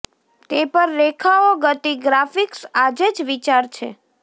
તે પર રેખાઓ ગતિ ગ્રાફિક્સ આજે જ વિચાર છે